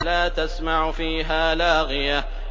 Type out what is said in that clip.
لَّا تَسْمَعُ فِيهَا لَاغِيَةً